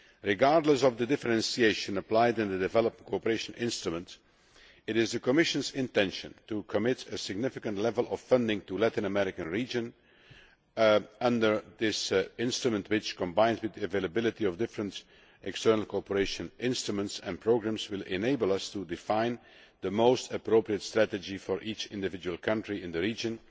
Regardless of the differentiation applied in the Development Cooperation Instrument, it is the Commission's intention to commit a significant level of funding to the Latin American region under this instrument which, combined with the availability of different external cooperation instruments and programmes, will enable us to define the most appropriate strategy for each individual country in the region